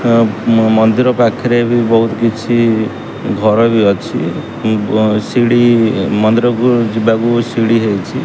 ମନ୍ଦିର ପାଖରେବି ବହୁତ କିଛି ଘରବି ଅଛି ସିଢି ମନ୍ଦିର କୁ ଯିବାକୁ ସିଢି ହେଇଛି।